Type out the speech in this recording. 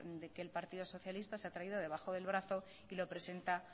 que el partido socialista se ha traído debajo del brazo y lo presenta